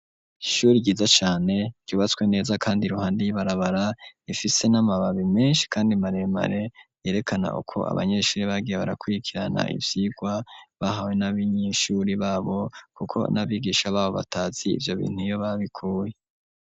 Ishuri giza cane tyubatswe neza, kandi ruhande iy'ibarabara ifise n'amababi menshi, kandi maremare yerekana ukwo abanyeshuri bagiye barakwikirana ivyirwa bahawe n'abo inyishuri babo, kuko n'abigisha babo batazi ivyo bintu iyo babikuye.